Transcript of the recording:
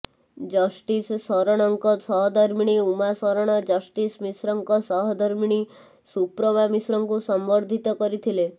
justice ଶରଣଙ୍କ ସହଧର୍ମିଣୀ Uma Saran justice ମିଶ୍ରଙ୍କ ସହଧର୍ମିଣୀ ସୁପ୍ରମା ମିଶ୍ରଙ୍କୁ ସମ୍ବର୍ଦ୍ଧିତ କରିଥିଲେ